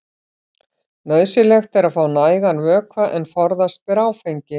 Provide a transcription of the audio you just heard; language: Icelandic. Nauðsynlegt er að fá nægan vökva en forðast ber áfengi.